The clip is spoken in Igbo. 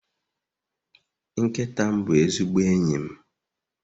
Nkịta m bụ ezigbo enyi m